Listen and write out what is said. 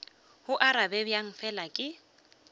go arabe bjang fela ke